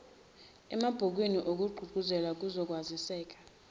emabhukwini ngokugqugquzela ukwaziseka